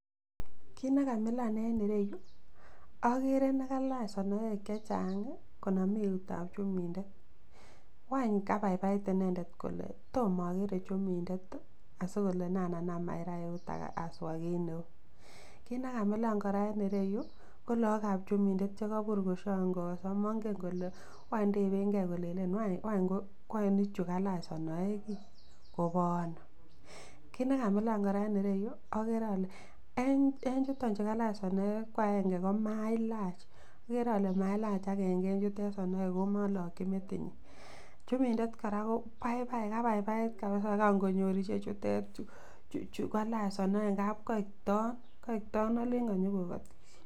Kit nekamilan en ireyu okere nekalach sonoek chechang konome eutab chumindet wany kobaibait inendet kole tom okere chumindet ii asikole nen anam aira eur aswa kit neu, kit nekamilan koraa en ireyu kolookab chumindet chekobur koshongooso monge kole wany tebenge kolelen ngwany bichu kalach sonoek ii kobo ono? Kit nekamilan koraa en ireyu okere ale en chuton chu kalach sonoek kwaenge komalach okere ole mailach agenge en chutet sonoek oo molokchi metinyin chumindet koraa kobaibai kabaibait kabisa kangonyor ichechutet chu kalach sonoek ingap koik ton olen konyogogoti.